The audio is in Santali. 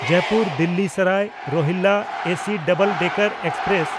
Jaipur-Delhi Sarai Rohilla AC double decker express